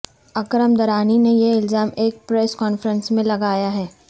اکرم درانی نے یہ الزام ایک پریس کانفرنس میں لگایا ہے